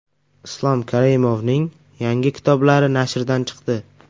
Islom Karimovning yangi kitoblari nashrdan chiqdi.